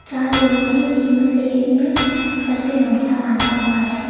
यहां लोग हैं जिनमें से एक ने सर पे गमछा बांधा हुआ है।